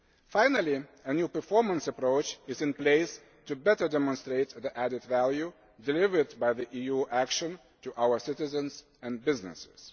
Finally, a new performance approach is in place to better demonstrate the added value delivered by the EU action to our citizens and businesses.